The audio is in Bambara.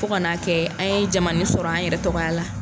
Fo kana n'a kɛ an ye jamananin sɔrɔ an yɛrɛ tɔgɔya la.